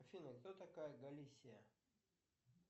афина кто такая галисия